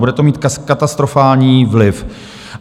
Bude to mít katastrofální vliv.